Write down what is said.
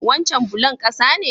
Wancen bulon ƙasa ne?